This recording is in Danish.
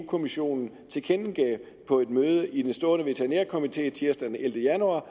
kommissionen tilkendegav på et møde i den stående veterinærkomité tirsdag den ellevte januar